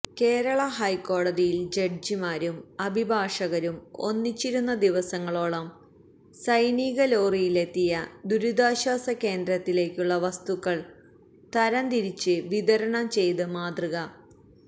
കേരള ഹൈക്കോടതിയിൽ ജഡ്ജിമാരും അഭിഭാഷകരും ഒന്നിച്ചിരുന്നു ദിവസങ്ങളോളം സൈനിക ലോറിയിലെത്തിയ ദുരിതാശ്വാസ കേന്ദ്രത്തിലേക്കുള്ള വസ്തുക്കൾ തരംതിരിച്ച് വിതരണം ചെയ്ത മാതൃക